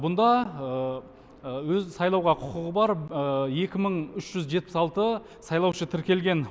бұнда өз сайлауға құқығы бар екі мың үш жүз жетпіс алты сайлаушы тіркелген